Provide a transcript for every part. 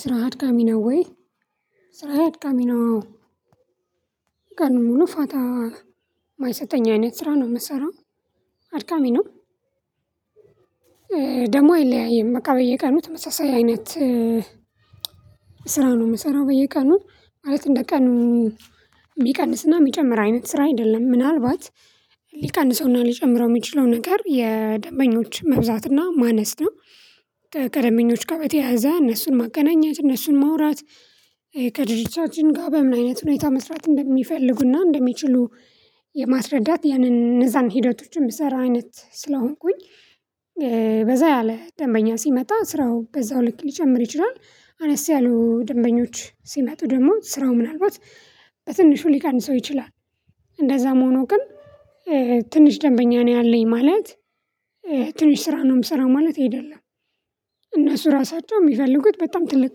ስራ አድካሚ ነው ወይ? ስራ አድካሚ ነው። ቀኑን ሙሉ ፋታ የማይሰጠኝ አይነት ስራ ነው የምሰራው። አድካሚ ነው። ደሞ አይለያይም በቃ በየቀኑ ተመሳሳይ አይነት ስራ ነው የምሰራው በየቀኑ ማለት እንደ ቀኑ የሚቀንስና የሚጨምር አይነት ስራ አይደለም ምናልባት ሊቀንሰውና ሊጨምረው የሚችለው ነገር የደንበኞች መብዛትና ማነስ ነው። ከደምበኞች ጋ በተያዘ እነሱን ማገናኘት እነሱን መውራት ከድርጅቻችን ጋር በምን አይነት ሁኔታ መስራት እንደሚፈልጉና እንደሚችሉ የማስረዳት ያንን እነዛን ሂደቶችን የምሰራ አይነት ስለሆንኩኝ። በዛ ያለ ደንበኛ ሲመጣ ስራው በዛው ልክ ሊጨምር ይችላል። አነስ ያሉ ደንበኞች ሲመጡ ደግሞ ስራው ምናልባት በትንሹ ሊቃንሰው ይችላል። እንደዛም ሁኖ ግን ትንሽ ደንበኛ ነው ያለኝ ማለት ትንሽ ስራ ነው የምሰራው ማለት አይደለም። እነሱ ራሳቸው ሚፈልጉት በጣም ትልቅ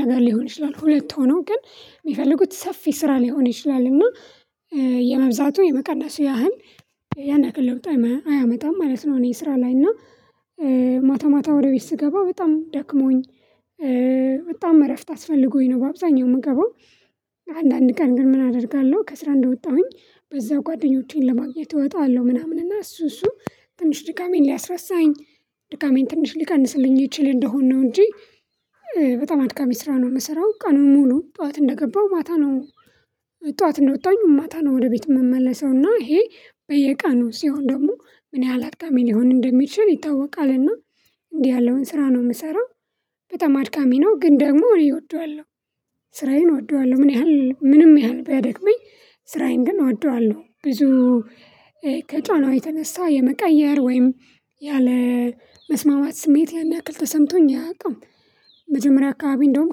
ነገር ሊሆን ይችላል ሁለት ሆኖ ግን ሚፈልጉት ሰፊ ስራ ሊሆን ይችላል እና የመብዛቱ የመቀነስ ያህል ያን ያክል ለውጥ አያመጣም ማለት ነው። እኔ ስራ ላይ እና ማታ ማታ ወደ ቤት ስገባ በጣም ደክሞኝ በጣም እረፍት አስፈልጎኝ ነው። በአብዛኛው የምገባው አንዳንድ ቀን ግን ምን አደርጋለሁ ከስራ እንደወጣሁኝ በዛ ጓደኞቼን ለማግኘት እወጣለሁ ምናምን እና እሱ እሱ ትንሽ ድጋሜን ሊያስረሳኝ ድጋሜን ትንሽ ሊቀንስልኝ ይችል እንደሆነ ነው። እንጂ በጣም አድጋሚ ስራ ነው የምሰራው ቀኑን ሙሉ ጠዋት እንደገባው ማታ ነው። ጠዋት እንደወጣኝ ማታ ነው ወደ ቤት የምመለሰው ይሄ በየቃኑ ሲሆን ደግሞ ምን ያህል አጥቃሚ ሊሆን እንደሚችል ይታወቃልና እንዲህ ያለውን ስራ ነው የምሰራው። በጣም አድካሚ ነው ግን ደግሞ እኔ እወደዋለሁ። ስራዬን እወደዋለሁ ምን ያህል ምንም ያህል ቢያደክመኝ ስራዬን ግን እወደዋለሁ ብዙ ከጫናው የተነሳ የመቀየር ወይም ያለ መስማማት ስሜት ያን ያክል ተሰምቶኝ አያውቅም። መጀመሪያ አካባቢ እንደውም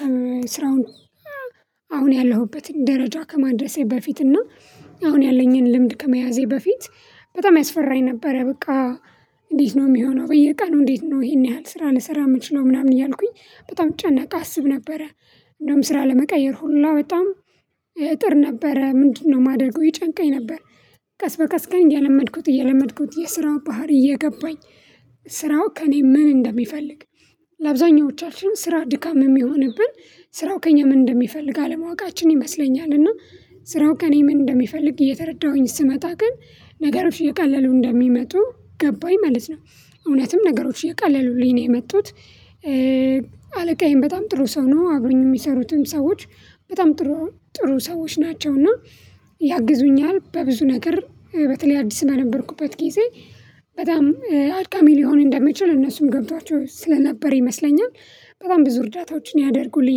ከስራውን አሁን ያለሁበትን ደረጃ ከማድረሴ በፊት እና አሁን ያለኝን ልምድ ከመያዜ በፊት በጣም ያስፈራኝ ነበረ። በቃ እንዴት ነው የሚሆነው በየቃሉ እንዴት ነው ይሄን ያህል ስራ ልሰራ የምንችለው ምናምን እያልኩኝ በጣም ጫና አስብ ነበረ። እንደውም ስራ ለመቀየር ሁላ በጣም እጥር ነበረ ምንድነው የማደርገው ይጨንቀኝ ነበር። ቀስ በቀስ ግን እየለመድኩት እየለመድኩት የስራው ባህሪ እየገባኝ ስራው ከእኔ ምን እንደሚፈልግ ለአብዛኞቻችን ስራ ድካም የሚሆንብን ስራው ከእኛ ምን እንደሚፈልግ አለማወቃችን ይመስለኛል። እና ስራው ከእኔ ምን እንደሚፈልግ እየተረዳሁኝ ስመጣ ግን ነገሮች እየቀለሉ እንደሚመጡ ገባኝ ማለት ነው። እውነትም ነገሮች እየቀለሉልኝ ነው የመጡት። አለቃዬን በጣም ጥሩ ሰው ነው አብውኝ የሚሰሩትም ሰዎች በጣም ጥሩ ጥሩ ሰዎች ናቸው። እና ያግዙኛል በብዙ ነገር በተለይ አዲስ በነበርኩበት ጊዜ በጣም አድካሚ ሊሆን እንደሚችል እነሱም ገብቷቸው ስለነበር ይመስለኛል። በጣም ብዙ እርዳታዎችን ያደርጉልኝ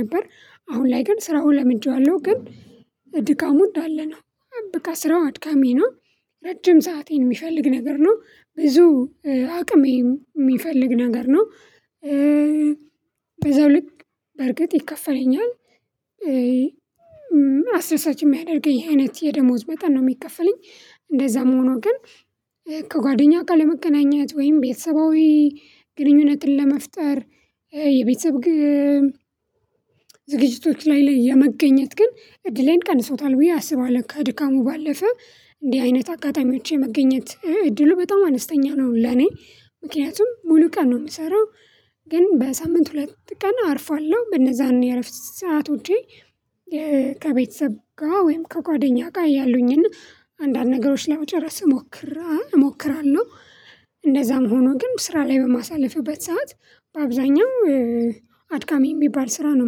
ነበር። አሁን ላይ ግን ስራውን ለምጃው አለው ግን ድካሙ እንዳለ ነው። በቃ ስራው አድካሚ ነው። ረጅም ሰዓትን የሚፈልግ ነገር ነው ብዙ አቅምም የሚፈልግ ነገር ነው። በዛው ልክ በእርግጥ ይከፈለኛል። አሰሳች ሚያደርገኝ አይነት የደሞዝ መጠን ነው የሚከፈለኝ። እንደዛ ሁኖ ግን ከጓደኛ ጋ ለመገናኘት ወይም ቤተሰባዊ ግንኙነትን ለመፍጠር የቤተሰብ ዝግጅቶች ላይ ላይ የመገኘት ግን እድሌን ቀንሶታል ብዬ አስባለሁ ከድካሙ ባለፈ እንዲህ አይነት አጋጣሚዎች የመገኘት እድሉ በጣም አነስተኛ ነው። ለኔ ምክንያቱም ሙሉ ቀን ነው የምሰራው። ግን በሳምንት ሁለት ቀን አርፋለሁ በነዛን የረፍት ሰዓት ውጪ ከቤተሰብ ጋር ወይም ከጓደኛ ጋር እያለሁኝና አንዳንድ ነገሮች ለመጨረስ እሞክራለሁ እሞክራለሁ። ሆኖ ግን ስራ ላይ በማሳለፍበት ሰዓት በአብዛኛው አድጋሚ የሚባል ስራ ነው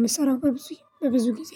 የምሰራው በብዙ በብዙ ጊዜ።